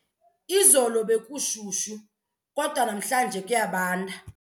Izolo bekushushu kodwa namhlanje kuyabanda.